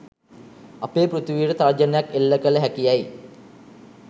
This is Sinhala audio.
අපේ පෘථිවියට තර්ජනයක් එල්ල කළ හැකි යැයි